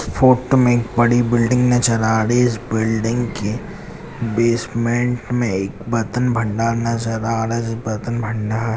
photo में बड़ी building नजर आ रही है इस बिल्डिंग की बेसमेंट में एक बर्तन भंडार नजर आ रहा जिस बर्तन भंडार--